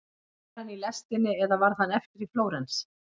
Er hann í lestinni eða varð hann eftir í Flórens?